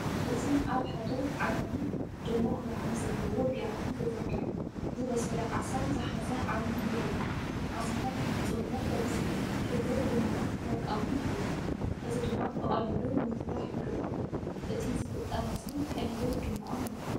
እዚ ኣብ ሓደ ዓቢ ድሙቕ ብርሃን ዘለዎ ብያቲ ተዘርጊሑ፡ ዝበሰለ ዓሳ ዝሓዘ ዓቢይ የርኢ። ዓሳታት ብፍጹምነት ተበሲሎም፡ ሕብሩ ቡናውን ወርቃውን ይኸውን። እዚ ድማ ብቐሊሉ ንምፍላሕ ይገብሮ። እቲ ዝፍጠር ምስሊ ቀሊልን ድሙቕን እዩ።